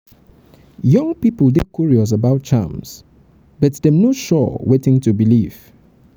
young pipo dey curious about charms but dem no sure wetin to believe.